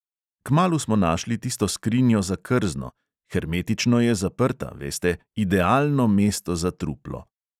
Kmalu smo našli tisto skrinjo za krzno, hermetično je zaprta, veste, idealno mesto za truplo.